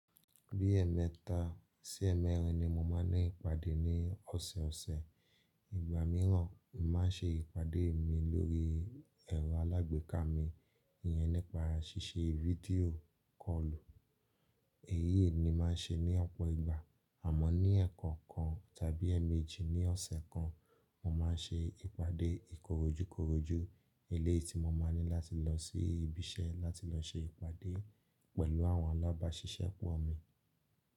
Bí ẹ̀ẹ̀mẹta sí ẹ̀ẹ̀mẹrin ni mo máa ń ní ìpàdé ní ọ̀sọ̀ọ̀sẹ̀. Ìgbà mìíràn, mo màá se ìpàdé mi lórí ẹ̀rọ alágbèéká mi, iyẹn nípa ṣíṣe fídíò kọ́ọ̀lù. Èyíi ni màá se ní ọ̀pọ̀ ìgbà, àmọ́ ní ẹ̀ẹ̀ko kan tàbí ẹmeejì ní ọ̀sẹ̀ kan, mo máa ń ṣe ìpàdé ìkorójúkoróju, eleyii tí mo máa ní láti lọ sí ibi iṣẹ́ láti lọ se ìpàdé pẹ̀lú àwọn alábáṣiṣẹ́pọ̀ mi.